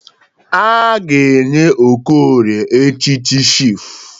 A ga-enye Okorie echịchị chifụ.